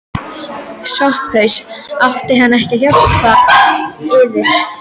SOPHUS: Átti hann ekki að hjálpa yður?